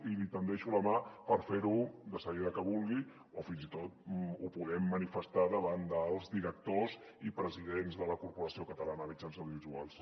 i li tendeixo la mà per fer lo de seguida que vulgui o fins i tot ho podem manifestar davant dels directors i presidents de la corporació catalana de mitjans audiovisuals